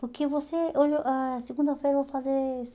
Porque você... hoje eu ãh Segunda-feira eu vou fazer